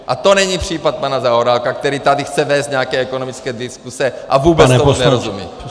A to není případ pana Zaorálka, který tady chce vést nějaké ekonomické diskuse a vůbec tomu nerozumí!